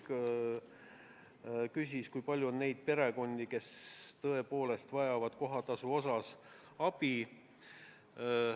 Ta küsis, kui palju on neid perekondi, kes tõepoolest vajavad kohatasu maksmiseks abi.